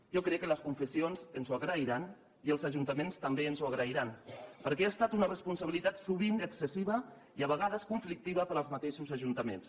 jo crec que les confessions ens ho agrairan i els ajuntaments també ens ho agrairan perquè ha estat una responsabilitat sovint excessiva i a vegades conflictiva per als mateixos ajuntaments